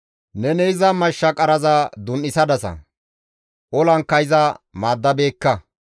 Neni iza mashsha qaraza dun7isadasa; olankka iza maaddabeekka.